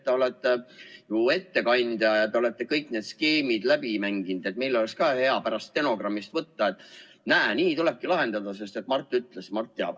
Te olete ju ettekandja ja ma kujutan ette, et te olete kõik need skeemid läbi mänginud, et meil oleks hea pärast stenogrammist võtta, et näe, nii tulebki lahendada, sest Mart ütles ja Mart teab.